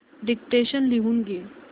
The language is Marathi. डिक्टेशन लिहून घे